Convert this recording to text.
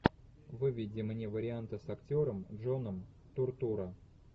выведи мне варианты с актером джоном туртурро